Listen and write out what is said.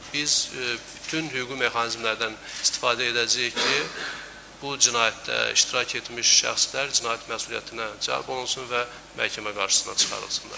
biz bütün hüquqi mexanizmlərdən istifadə edəcəyik ki, bu cinayətdə iştirak etmiş şəxslər cinayət məsuliyyətinə cəlb olunsun və məhkəmə qarşısına çıxarılsınlar.